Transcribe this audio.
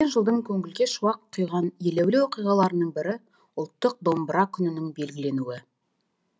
өткен жылдың көңілге шуақ құйған елеулі оқиғаларының бірі ұлттық домбыра күнінің белгіленуі